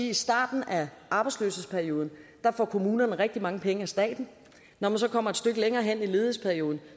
i starten af arbejdsløshedsperioden får kommunerne rigtig mange penge af staten når man så kommer et stykke længere hen i ledighedsperioden